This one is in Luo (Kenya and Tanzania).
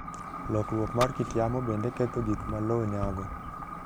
Lokruok mar kit yamo bende ketho gik ma lowo nyago.